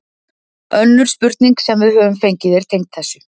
Önnur spurning sem við höfum fengið er tengd þessu: